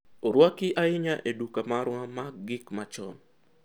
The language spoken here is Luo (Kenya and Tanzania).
orwaki ahinya e duka marwa mag gik machon